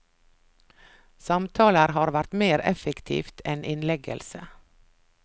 Samtaler har vært mer effektivt enn innleggelse.